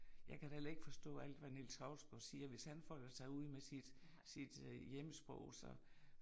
Jeg kan da heller ikke forstå alt hvad Niels Hausgaard siger, hvis han folder sig ud med sit sit hjemsprog så